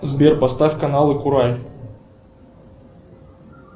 сбер поставь каналы курай